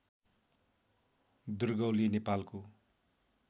दुर्गौली नेपालको